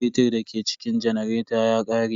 Fetir da ke cikin janareta ya ƙare.